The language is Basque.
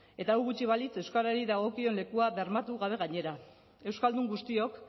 eta hau gutxi balitz euskarari dagokion lekua bermatu gabe gainera euskaldun guztiok